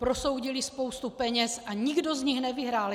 Prosoudili spoustu peněz a nikdo z nich nevyhrál.